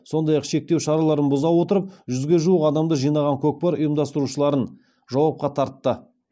сондай ақ шектеу шараларын бұза отырып жүзге жуық адамды жинаған көкпар ұйымдастырушыларын жауапқа тартты